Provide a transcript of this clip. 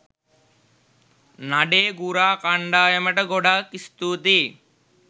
නඩේ ගුරා කන්ඩායමට ගොඩක් ස්තුතීයි.